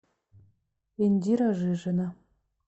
индира жижина